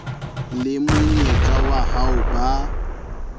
le monyetla wa ho ba